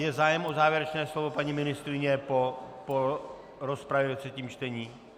Je zájem o závěrečné slovo, paní ministryně, po rozpravě ve třetím čtení?